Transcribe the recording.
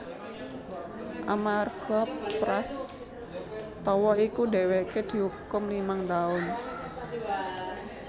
Amarga prastawa iku dheweke diukum limang taun